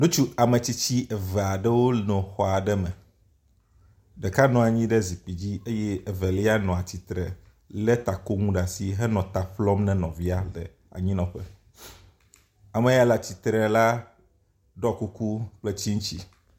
Ŋutsu ametsitsi eve aɖewo nɔ xɔ aɖe me, ɖeka nɔ anyi ɖe zikpui dzi eye evelia nɔ atsitre lé takonu ɖe asi henɔ ta ƒlɔm na nɔvia le anyinɔƒe. ame ya nɔ atsitre la ɖɔ kuku kple tsitsi.